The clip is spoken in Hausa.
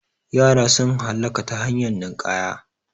Yara sun halaka ta hanyar ninƙaya